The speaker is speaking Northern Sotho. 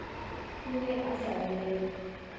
o be a sa lwele